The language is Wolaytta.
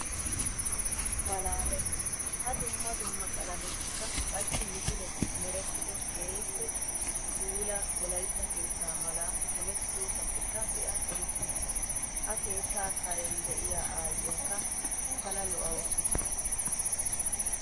Malaales! Ha dumma dumma qalamettikka qassi misiletti merettido keehippe puula wolaytta keetta mala yelettidosappekka be'a erikke. Ha keetta karen de'iya aayiyakka pala lo'awussu.